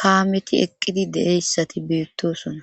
kaameti eqqidi deeyssati beettosona